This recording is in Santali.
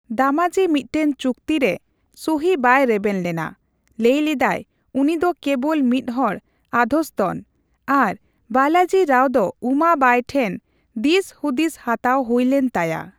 ᱫᱟᱢᱟᱡᱤ ᱢᱤᱫᱴᱟᱝ ᱪᱩᱠᱛᱤ ᱨᱮ ᱥᱩᱦᱤ ᱵᱟᱭ ᱨᱮᱵᱮᱱ ᱞᱮᱱᱟ, ᱞᱟᱹᱭ ᱞᱮᱫᱟᱭ ᱩᱱᱤ ᱫᱚ ᱠᱮᱵᱚᱞ ᱢᱤᱫ ᱦᱚᱲ ᱟᱫᱷᱥᱛᱚᱱ, ᱟᱨ ᱵᱟᱞᱟᱡᱤ ᱨᱟᱣ ᱫᱚ ᱩᱢᱟᱵᱟᱝᱭ ᱴᱷᱮᱱ ᱫᱤᱥ ᱦᱩᱫᱤᱥ ᱦᱟᱛᱟᱣ ᱦᱩᱭ ᱞᱮᱱ ᱛᱟᱭᱟ ᱾